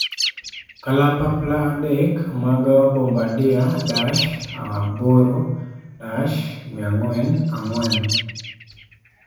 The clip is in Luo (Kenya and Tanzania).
Kalapapla 3 mag Bombardier Dash 8-400 4.